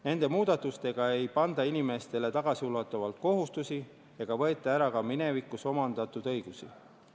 Nende muudatustega ei panda inimestele tagasiulatuvalt kohustusi ega võeta ära ka minevikus omandatud õigusi.